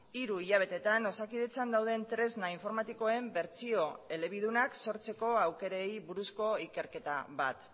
hiru hilabetetan osakidetzan dauden tresna informatikoen bertsio elebidunak sortzeko aukerei buruzko ikerketa bat